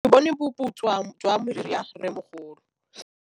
Ke bone boputswa jwa meriri ya rrêmogolo.